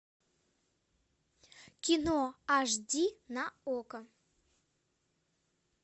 кино аш ди на окко